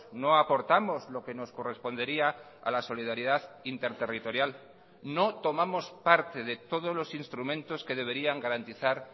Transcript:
no aportamos lo que nos correspondería a la solidaridad interterritorial no tomamos parte de todos los instrumentos que deberían garantizar